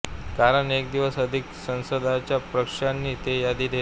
कारण एक दिवस आधीच सदस्यांच्या प्रश्नांची ते यादी घेत